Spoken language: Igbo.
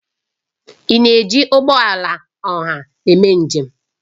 Ị na-eji ụgbọ ọha eme njem?